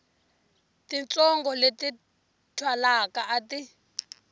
titsongo leti twalaka a ti